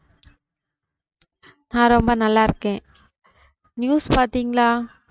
நான் ரொம்ப நல்லாருக்கேன். news பாத்தீங்களா?